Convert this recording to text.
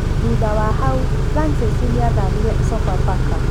Thutha wa hau, Francis nĩ athamĩire Sofapaka.